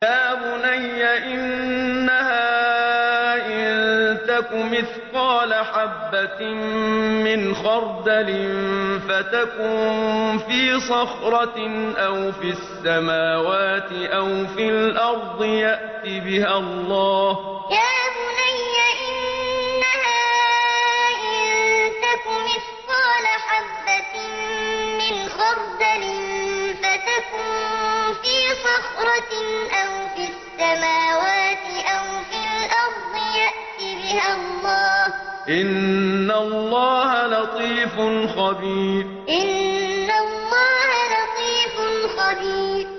يَا بُنَيَّ إِنَّهَا إِن تَكُ مِثْقَالَ حَبَّةٍ مِّنْ خَرْدَلٍ فَتَكُن فِي صَخْرَةٍ أَوْ فِي السَّمَاوَاتِ أَوْ فِي الْأَرْضِ يَأْتِ بِهَا اللَّهُ ۚ إِنَّ اللَّهَ لَطِيفٌ خَبِيرٌ يَا بُنَيَّ إِنَّهَا إِن تَكُ مِثْقَالَ حَبَّةٍ مِّنْ خَرْدَلٍ فَتَكُن فِي صَخْرَةٍ أَوْ فِي السَّمَاوَاتِ أَوْ فِي الْأَرْضِ يَأْتِ بِهَا اللَّهُ ۚ إِنَّ اللَّهَ لَطِيفٌ خَبِيرٌ